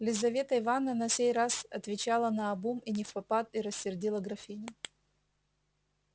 лизавета ивановна на сей раз отвечала наобум и невпопад и рассердила графиню